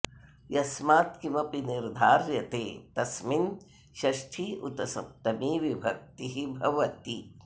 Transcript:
यस्मात् किमपि निर्धार्यते तस्मिन् षष्ठी उत सप्तमी विभक्तिः भवति